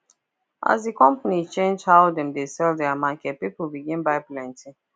as the company change how dem dey sell their market people begin buy plenty